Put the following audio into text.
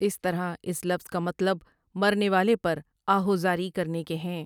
اس طرح اس لفظ کا مطلب مرنے والے پر آہوازاری کرنے کے ہیں ۔